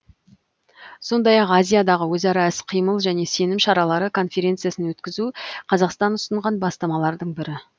сондай ақ азиядағы өзара іс қимыл және сенім шаралары конференциясын өткізу қазақстан ұсынған бастамалардың бірі